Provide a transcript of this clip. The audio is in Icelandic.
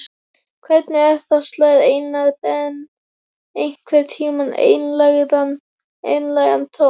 Hvernig er það, slær Einar Ben einhvern tímann einlægan tón?